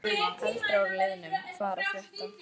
Eldra úr liðnum Hvað er að frétta?